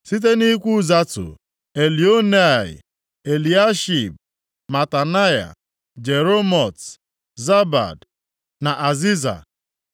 Site nʼikwu Zatu: Elioenai, Eliashib, Matanaya, Jeremot, Zabad na Aziza.